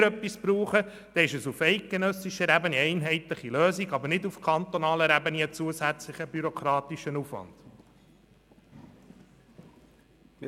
Wenn wir etwas brauchen, dann ist es eine einheitliche Lösung auf eidgenössischer Ebene, nicht aber einen zusätzlichen bürokratischen Aufwand auf kantonaler Ebene.